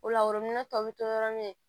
O la tɔw bɛ to yɔrɔ min